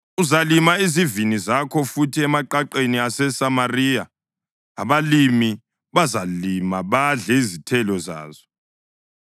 Uzalima izivini zakho futhi emaqaqeni aseSamariya; abalimi bazazilima badle izithelo zazo.